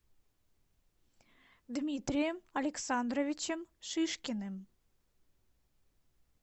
дмитрием александровичем шишкиным